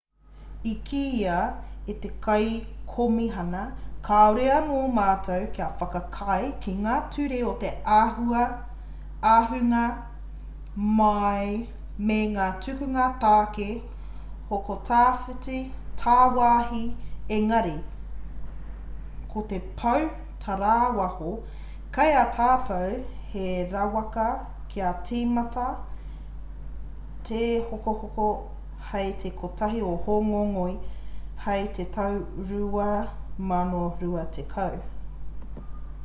i kīia e te kaikomihana kāore anō mātou kia whakaae ki ngā ture o te ahunga mai me ngā tukunga tāke hoko tāwāhi engari ko te pou tarāwaho kei a tātou he rawaka kia tīmata tehokohoko hei te 1 o hōngongoi hei te tau 2020